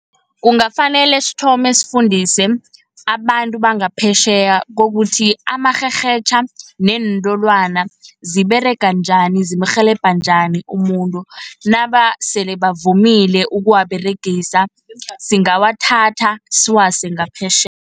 Kungafanele sithome sifundise abantu bangaphetjheya kokuthi, amarherhetjha, neentolwana ziberega njani, zimrhelebha njani umuntu. Nabasele bavumile ukuwaberegisa singawathatha siwase ngaphetjheya.